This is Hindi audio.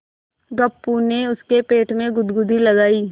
गप्पू ने उसके पेट में गुदगुदी लगायी